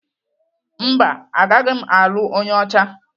Mba, agaghị m alụ onye ọcha.